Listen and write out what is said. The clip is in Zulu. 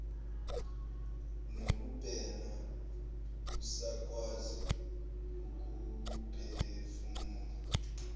nokubhema usakwazi ukuphefumula